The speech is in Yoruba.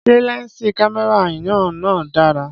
Ṣé lẹnsi kámẹ́rà yan na dára?